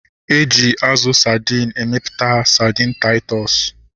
Eji azụ sadin emeputa sadin Taịtọs